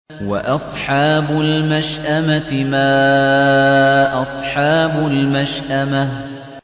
وَأَصْحَابُ الْمَشْأَمَةِ مَا أَصْحَابُ الْمَشْأَمَةِ